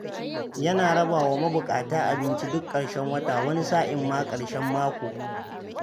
Yana raba wa mabuƙata abinci duk ƙarshen wata, wani sa'in ma ƙarshen mako.